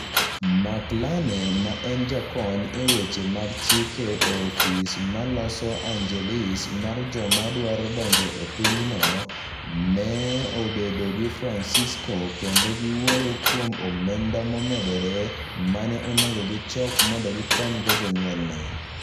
Mark Lane, ma en jakony e weche mag chike e ofis ma Los Angeles mar joma dwaro donjo e pinyno, ne obedo gi Francisco, kendo ne giwuoyo kuom omenda momedore ma ne onego gichok mondo gikonygo jonyuolne.